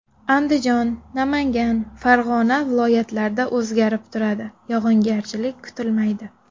Andijon, Namangan, Farg‘ona viloyatlarida o‘zgarib turadi, yog‘ingarchilik kutilmaydi.